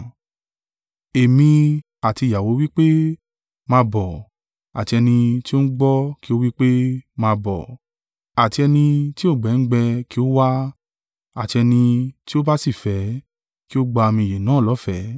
Ẹ̀mí àti ìyàwó wí pé, “Máa bọ!” Àti ẹni tí ó ń gbọ́ kí ó wí pé, “Máa bọ̀!” Àti ẹni tí òǹgbẹ ń gbẹ kí ó wá, àti ẹni tí o bá sì fẹ́, kí ó gba omi ìyè náà lọ́fẹ̀ẹ́.